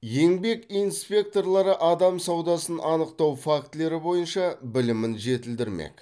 еңбек инспекторлары адам саудасын анықтау фактілері бойынша білімін жетілдірмек